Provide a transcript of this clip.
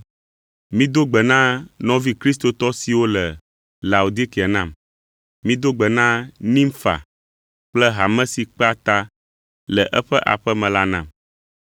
Mido gbe na nɔvi kristotɔ siwo le Laodikea nam. Mido gbe na Nimfa kple hame si kpea ta le eƒe aƒe me la nam.